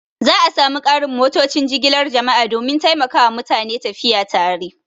Za a sa mu ƙarin motocin jigilar jama'a don taimakawa mutane tafiya tare